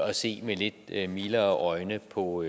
at se med lidt mildere øjne på